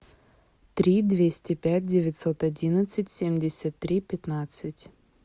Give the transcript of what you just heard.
три двести пять девятьсот одиннадцать семьдесят три пятнадцать